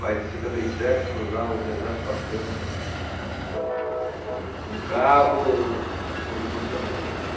Mas em setenta e sete cruzar o deserto Atacama, ehh, com carro, foi emocionante também.